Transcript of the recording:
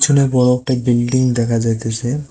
পিছনে বড় একটা বিল্ডিং দেখা যাইতাসে।